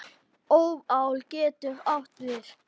Óðal getur átt við